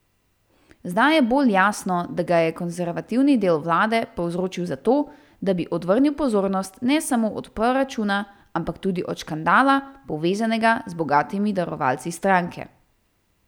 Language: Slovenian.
Zdaj je bolj jasno, da ga je konservativni del vlade povzročil zato, da bi odvrnil pozornost ne samo od proračuna, ampak tudi od škandala, povezanega z bogatimi darovalci stranke.